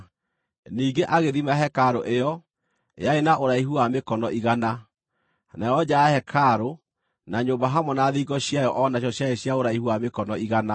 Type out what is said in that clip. Ningĩ agĩthima hekarũ ĩyo; yarĩ na ũraihu wa mĩkono igana, nayo nja ya hekarũ, na nyũmba hamwe na thingo ciayo o nacio ciarĩ cia ũraihu wa mĩkono igana.